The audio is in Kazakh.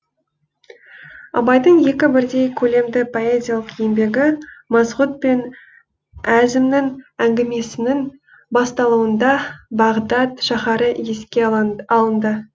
абайдың екі бірдей көлемді поэзиялық еңбегі масғұт пен әзімнің әңгімесінің басталуында бағдат шаһары еске алынды